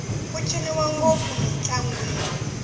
ku ciniwa ngopfu mintlangwini